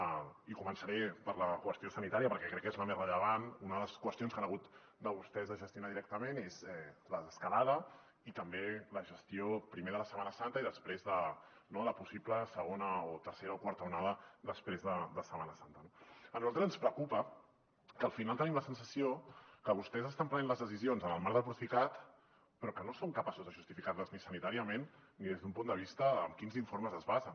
i començaré per la qüestió sanitària perquè crec que és la més rellevant una de les qüestions que han hagut vostès de gestionar directament és la desescalada i també la gestió primer de la setmana santa i després de possibles segona o tercera o quarta onada després de setmana santa no a nosaltres ens preocupa que al final tenim la sensació que vostès estan prenent les decisions en el marc del procicat però que no són capaços de justificar les ni sanitàriament ni des d’un punt de vista de amb quins informes es basen